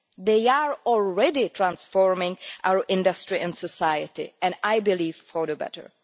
They are already transforming our industry and society and I believe for the better.